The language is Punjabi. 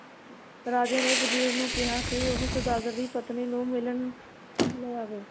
ਰਾਜੇ ਨੇ ਵਜ਼ੀਰ ਨੂੰ ਕਿਹਾ ਕਿ ਉਹ ਸੌਦਾਗਰ ਦੀ ਪਤਨੀ ਨੂੰ ਮਿਲਣ ਲੈ ਆਵੇ।